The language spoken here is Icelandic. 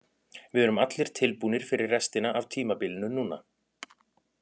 Við erum allir tilbúnir fyrir restina af tímabilinu núna.